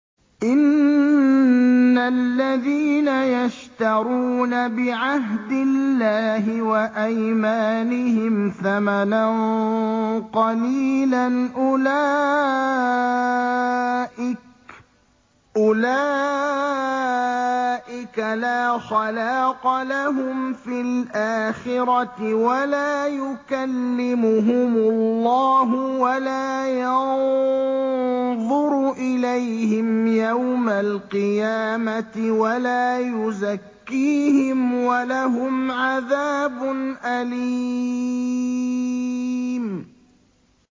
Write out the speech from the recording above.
إِنَّ الَّذِينَ يَشْتَرُونَ بِعَهْدِ اللَّهِ وَأَيْمَانِهِمْ ثَمَنًا قَلِيلًا أُولَٰئِكَ لَا خَلَاقَ لَهُمْ فِي الْآخِرَةِ وَلَا يُكَلِّمُهُمُ اللَّهُ وَلَا يَنظُرُ إِلَيْهِمْ يَوْمَ الْقِيَامَةِ وَلَا يُزَكِّيهِمْ وَلَهُمْ عَذَابٌ أَلِيمٌ